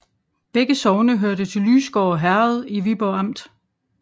Begge sogne hørte til Lysgård Herred i Viborg Amt